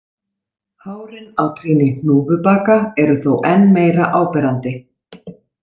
Hárin á trýni hnúfubaka eru þó enn meira áberandi.